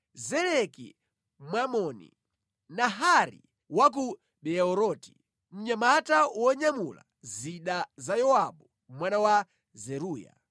Zeleki Mwamoni, Naharai wa ku Beeroti, mnyamata wonyamula zida za Yowabu mwana wa Zeruya.